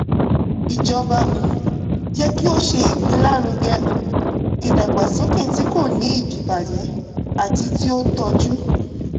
ìjọba um yẹ kí ó ṣe ìgbélárugẹ um ìdàgbàsókè tí kò ní ìdíbàjẹ́ àti tí ó tọjú.